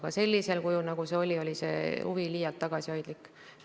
Aga sellisel kujul, nagu see oli, oli see huvi liialt tagasihoidlik.